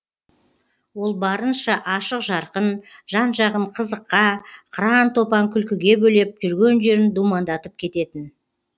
ол барынша ашық жарқын жан жағын қызыққа қыран топан күлкіге бөлеп жүрген жерін думандатып кететін